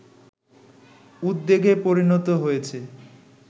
উদ্বেগে পরিণত হয়েছে